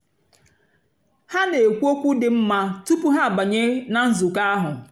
há nà-ékwú ókwú dị́ nmá túpú há àbányé nà nzụ̀kọ́ áhụ̀.